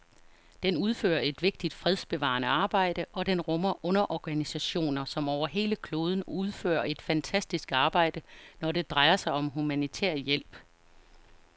Den udfører et vigtigt fredsbevarende arbejde, og den rummer underorganisationer, som over hele kloden udfører et fantastisk arbejde, når det drejer sig om humanitær hjælp.